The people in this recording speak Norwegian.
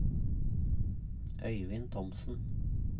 Øivind Thomsen